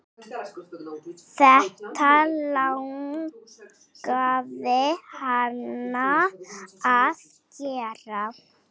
Þetta langaði hana að gera.